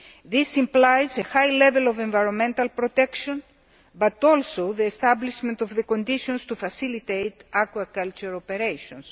This implies a high level of environmental protection, but also the establishment of the conditions to facilitate aquaculture operations.